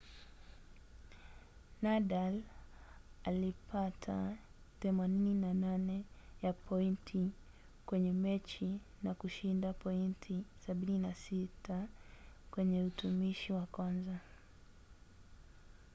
nadal alipata 88% ya pointi kwenye mechi na kushinda pointi 76 kwenye utumishi wa kwanza